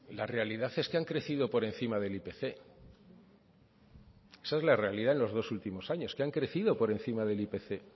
la realidad es que han crecido por encima del ipc esa es la realidad en los dos últimos años que han crecido por encima del ipc